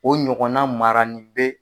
O ɲɔgɔnna maranen be